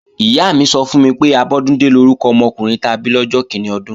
Ìyá mi sọ fún mi pé, Abọ́dúndé lórúkọ ọmọkùnrin ta bí lọ́jọ́ kíní ọdún